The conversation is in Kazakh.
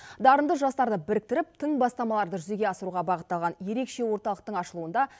дарынды жастарды біріктіріп тың бастамаларды жүзеге асыруға бағытталған ерекше орталықтың ашылуында